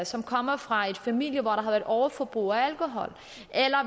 som kommer fra familier hvor et overforbrug af alkohol eller